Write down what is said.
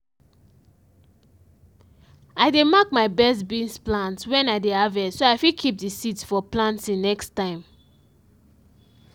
i dey mark my best beans plants when i dey harvest so i fit keep the seeds for planting next time.